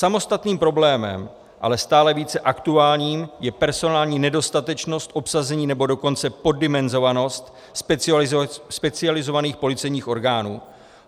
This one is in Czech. Samostatným problémem, ale stále více aktuálním, je personální nedostatečnost obsazení, nebo dokonce poddimenzovanost specializovaných policejních orgánů.